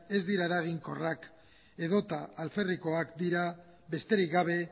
ez dira eraginkorrak edo eta alferrikoak dira besterik gabe